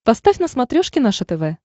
поставь на смотрешке наше тв